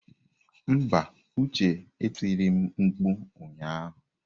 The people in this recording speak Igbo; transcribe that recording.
Mba, Uche e tiri m mkpu ụnyahụ.